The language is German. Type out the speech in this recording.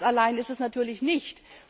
Das alleine ist es natürlich nicht.